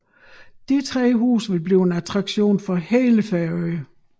De tre huse vil blive en attraktion for hele Færøerne